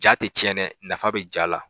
Ja tɛ tiɲɛ dɛ nafa bɛ ja la.